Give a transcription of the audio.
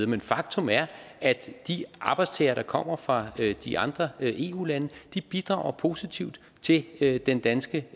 men faktum er at de arbejdstagere der kommer fra de andre eu lande bidrager positivt til til den danske